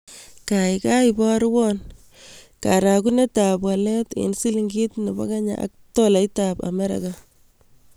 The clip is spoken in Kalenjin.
Gagai iborwon karagunetap walet eng' silingit ne po Kenya ak tolaitap Amerika